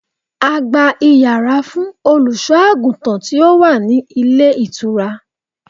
A gba Ìyàrá fún Olùṣọ́-àgùntàn tí ó wá ní ilé ìtura.